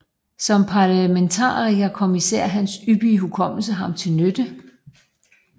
Som parlamentariker kom især hans ypperlige hukommelse ham til nytte